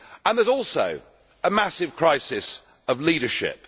There is also a massive crisis of leadership.